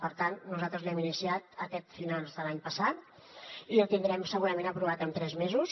per tant nosaltres l’hem iniciat aquest final de l’any passat i el tindrem segurament aprovat en tres mesos